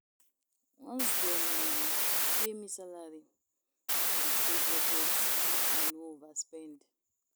Once dem um pay me salary, I dey create budget make I no overspend.